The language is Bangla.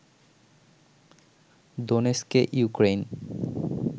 দোনেস্কে ইউক্রেইন